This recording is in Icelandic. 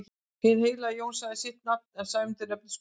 Hinn heilagi Jón sagði sitt nafn en Sæmundur nefndist Kollur.